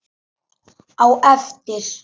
Á eftir?